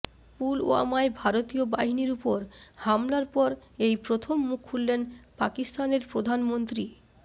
পুলওয়ামায় ভারতীয় বাহিনীর ওপর হামলার পর এই প্রথম মুখ খুললেন পাকিস্তানের প্রধানমন্ত্রী